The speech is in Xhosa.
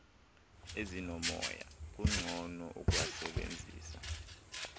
ezinomoya kungcono ukuwasebenzisa